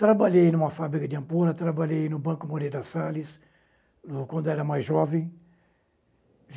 Trabalhei em uma fábrica de ampulha, trabalhei no Banco Moreira Salles, quando era mais jovem.